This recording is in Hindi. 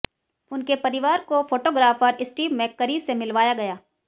उनके परिवार को फोटोग्राफर स्टीव मैककरी से मिलवाया गया